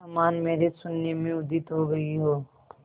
समान मेरे शून्य में उदित हो गई हो